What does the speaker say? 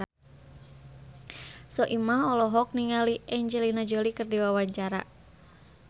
Soimah olohok ningali Angelina Jolie keur diwawancara